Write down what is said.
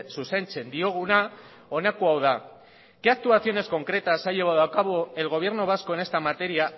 zuzentzen dioguna honako hau da qué actuaciones concretas ha llevado a cabo el gobierno vasco en esta materia